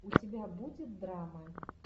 у тебя будет драмы